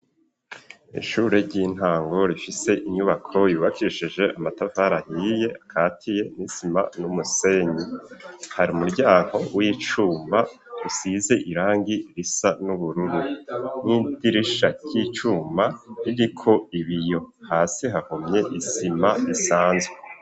Ishure ry'intango rifise inyubako ryubakishije amatafari ahiye akatiye n'isima n'umusenyi hari umuryango w'icuma usize irangi risa n'ubururu n'idirisha ry'icuma ririko ibiyo hasi hahomye izima isanzwe.